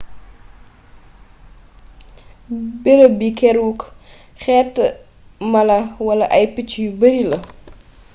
beereeb bi keeruk xéétu mala wala ay picc yu beeri la